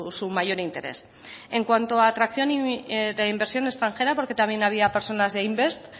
su mayor interés en cuanto a atracción de inversión extranjera porque también había personas de invest